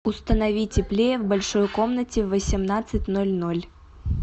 установи теплее в большой комнате в восемнадцать ноль ноль